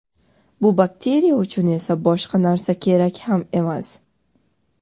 Bu bakteriya uchun esa boshqa narsa kerak ham emas.